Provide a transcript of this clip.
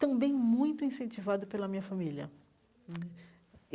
Também muito incentivado pela minha família né.